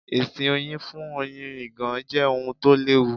Ìsìn Oyin fún Oyin ìgàn jẹ́ ohun tó l'ẹ́wu.